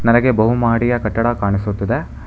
ನನಗೆ ಬಹು ಮಹಡಿಯ ಕಟ್ಟಡ ಕಾಣಿಸುತ್ತದೆ.